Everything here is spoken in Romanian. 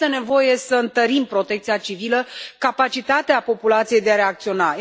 Este nevoie să întărim protecția civilă, capacitatea populației de a reacționa.